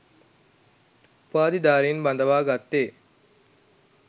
උපාධිධාරීන් බඳවා ගත්තේ